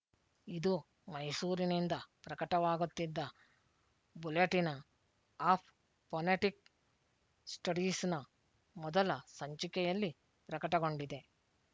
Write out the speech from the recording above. ಇದು ಮೈಸೂರಿನಿಂದ ಪ್ರಕಟವಾಗುತ್ತಿದ್ದ ಬುಲೆಟಿನ ಆಫ್ ಪೊನೆಟಿಕ್ ಸ್ಟಡೀಸ್‍ನ ಮೊದಲ ಸಂಚಿಕೆಯಲ್ಲಿ ಪ್ರಕಟಗೊಂಡಿದೆ